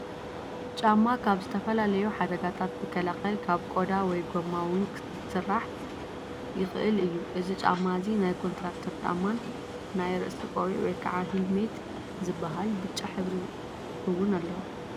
ጫማ ካብ ዝተፈላለዩ ሓደጋታት ዝከላለል ካብ ቆዳ ወይ ጎማ እውን ክስራሕ ይክእል እዩ። እዚ ጫማ እዚ ናይ ኮንትራክተር ጫማን ናይ ርእሲ ቆቢዕ ወይ ከዓ ሂልመት ዝበሃል ብጫ ሕብሪ እውን ኣለዎ።